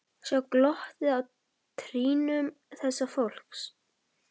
Sjá glottið á trýnum þessa fólks.